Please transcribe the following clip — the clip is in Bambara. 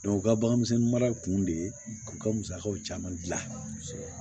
u ka bagan misɛnnin mara kun de ye u ka musakaw caman dilan